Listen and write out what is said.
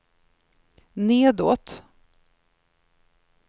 nedåt